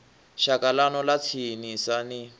shaka ḽanu ḽa tsinisa ni